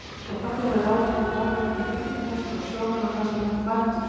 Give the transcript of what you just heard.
Ef pabbi hefði ráðið hefðu bara verið til byggingameistarar og sjómenn og kannski nokkrir bændur.